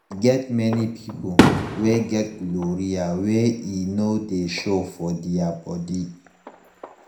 e get many people wey get gonorrhea wey e no de show for their body